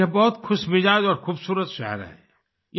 यह बहुत खुशमिजाज और खुबसूरत शहर है